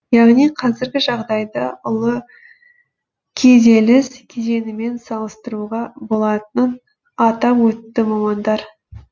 яғни қазіргі жағдайды ұлы күйзеліс кезеңімен салыстыруға болатынын атап өтті мамандар